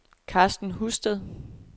Karsten Husted